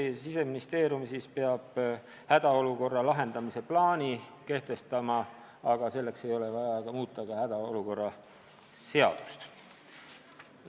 Politsei ja Siseministeerium peavad hädaolukorra lahendamise plaani kehtestama, aga selleks ei ole vaja muuta hädaolukorra seadust.